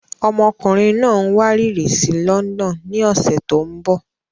Ọmọkùnrin náà ń wárìrì sí London ní ọ̀sẹ̀ tó ń bọ̀.